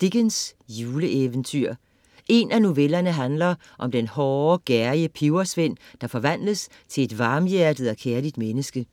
Dickens, Charles: Juleeventyr En af novellerne handler om den hårde, gerrige pebersvend, der forvandles til et varmhjertet og kærligt menneske.